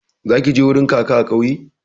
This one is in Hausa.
Zaki je wurin kaka a kauye